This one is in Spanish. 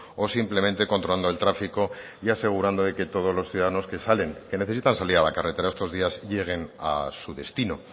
o simplemente controlando el tráfico y asegurando de que todos los ciudadanos que salen que necesitan salir a la carretera estos días lleguen a su destino